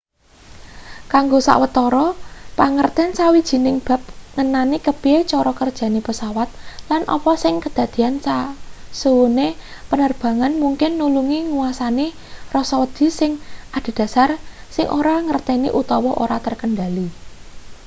kanggo sawetara pangerten sawijining bab ngenani kepiye cara kerjane pesawat lan apa sing kedadean sasuwene penerbangan mungkin nulungi nguasani rasa wedi sing adhedhasar sing ora dingerteni utawa ora terkendhali